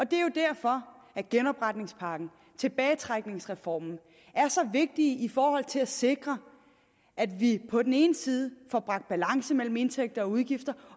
det er jo derfor genopretningspakken og tilbagetrækningsreformen er så vigtige i forhold til at sikre at vi på den ene side får bragt balance mellem indtægter og udgifter